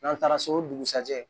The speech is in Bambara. N'an taara so o dugusajɛ